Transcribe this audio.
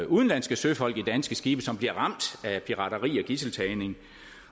udenlandske søfolk på danske skibe som bliver ramt af pirateri og gidseltagning